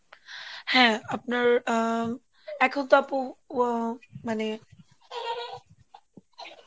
হ্যাঁ, আপনার আহ এখন তো আপু আহ মানে